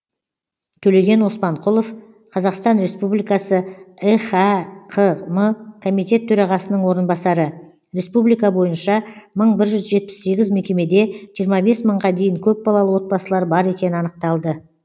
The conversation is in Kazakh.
төлеген оспанқұлов қазақстан республикасы ехәқм комитет төрағасының орынбасары республика бойынша мың бір жүз жетпіс сегіз мекемеде жиырма бес мыңға дейін көпбалалы отбасылар бар екені анықталды